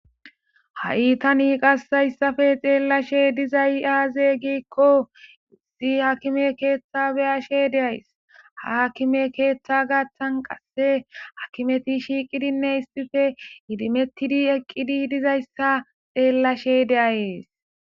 Ha'i tani qassayssafe xeellashe dizay aaze giikko izi hakime keeththa beyashe deays haakime keeththa gaththan qasse hakimeti shiiqidinne issife idimettidi eqqidi dizayssa xeellashe de7ayees